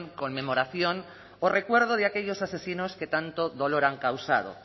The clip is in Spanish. conmemoración o recuerdo de aquellos asesinos que tanto dolor han causado